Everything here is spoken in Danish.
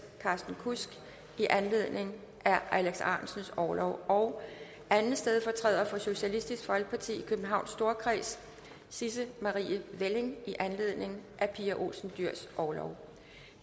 carsten kudsk i anledning af alex ahrendtsens orlov og anden stedfortræder for socialistisk folkeparti i københavns storkreds sisse marie welling i anledning af pia olsen dyhrs orlov